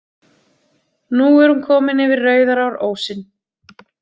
Nú er hún komin yfir Rauðarárósinn.